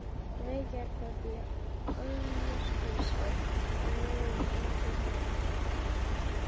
Reykjakot í Ölfusi á vegum Rannsóknanefndarinnar.